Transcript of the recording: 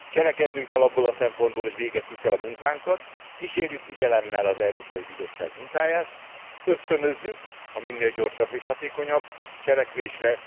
Cselekednünk kell abból a szempontból, hogy végezzük el a munkánkat, kísérjük figyelemmel az Európai Bizottság munkáját, ösztönözzük minél gyorsabb és hatékonyabb cselekvésre.